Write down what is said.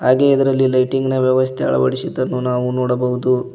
ಹಾಗೆ ಎದರಲ್ಲಿ ಲೈಟಿಂಗ್ ನ ವ್ಯವಸ್ಥೆ ಅಳವಡಿಸಿದನ್ನು ನಾವು ನೋಡಬಹುದು.